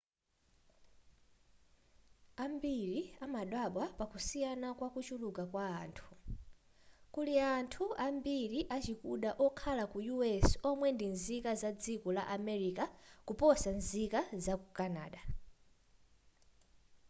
ambiri amadabwa pakusiyana kwakuchuluka kwa anthu kuli anthu ambiri achikuda okhala ku us omwe ndi nzika zadziko la america kuposa nzika zaku canada